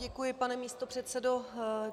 Děkuji, pane místopředsedo.